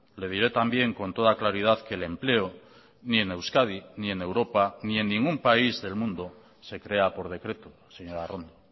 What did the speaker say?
le diré también con toda claridad que el empleo ni en euskadi ni en europa ni en ningún país del mundo se crea por decreto señora arrondo